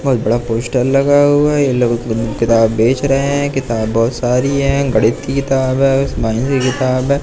बहोत बड़ा पोस्टर लगा हुआ है ये लोग किताब बेच रहे हैं किताब बहोत सारी हैं गणित की किताब है की किताब है।